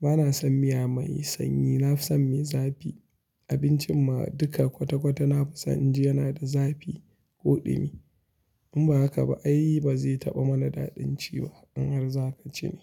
Bana son miya mai sanyi, na fi son mai zafi. Abincin ma duka kwata-kwata na fi son in ji yana da zafi ko ɗumi. In ba haka ba ai ba zai taɓa mana daɗin ci ba in har zaka ci ne.